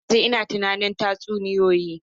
Har yanzu ina tunanin tatsuniyoyi.